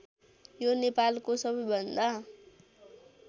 यो नेपालको सबैभन्दा